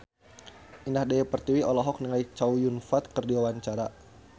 Indah Dewi Pertiwi olohok ningali Chow Yun Fat keur diwawancara